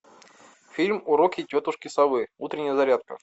фильм уроки тетушки совы утренняя зарядка